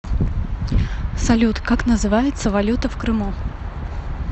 салют как называется валюта в крыму